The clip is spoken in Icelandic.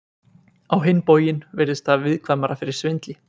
Á hinn bóginn virðist það viðkvæmara fyrir svindli.